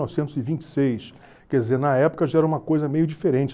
Novecentos e vinte e seis. Quer dizer, na época já era uma coisa meio diferente.